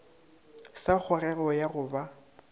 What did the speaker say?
sa kgogego ya go ba